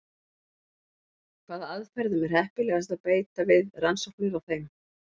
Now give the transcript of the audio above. Hvaða aðferðum er heppilegast að beita við rannsóknir á þeim?